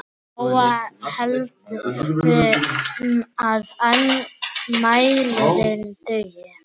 Lóa: Heldurðu að mælirinn dugi?